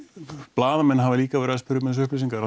blaðamenn hafa líka verið að spyrja um þessar upplýsingar